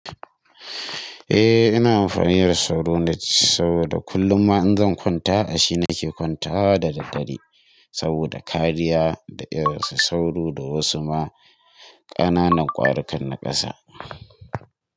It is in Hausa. Eh ina amfani da sauro net saboda kullum ma in zan kwanta a shi nake kwantawa da daddare. Saboda kariya da irin su sauro da wasu ma ƙananan ƙwarikan na ƙasa.